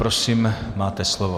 Prosím, máte slovo.